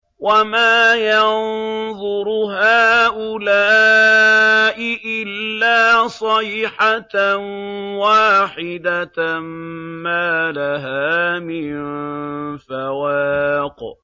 وَمَا يَنظُرُ هَٰؤُلَاءِ إِلَّا صَيْحَةً وَاحِدَةً مَّا لَهَا مِن فَوَاقٍ